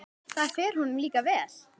Það fer honum líka vel.